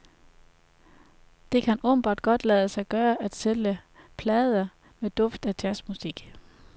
Det kan åbenbart godt lade sig gøre at sælge plader med duft af jazzmusik.